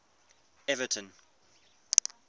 everton